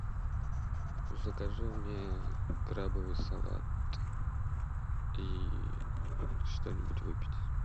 закажи мне крабовый салат и что нибудь выпить